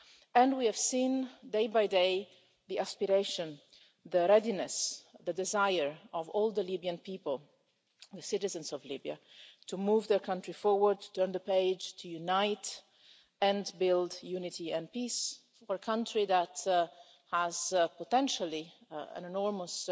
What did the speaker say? and we have seen day by day the aspiration, the readiness, the desire of all the Libyan people, the citizens of Libya, to move their country forward, to turn the page, to unite and build unity and peace for a country that has potentially an enormous